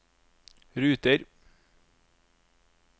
ruter